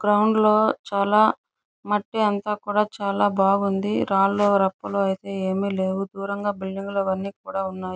Ground లో చాలా మట్టి అంత కూడా చాల బాగావుంది. రాళ్ళూ రప్పలు అయితే ఏమి లేవు. దూరంగా బిల్డింగ్ లు అన్ని కూడా ఉన్నాయ్.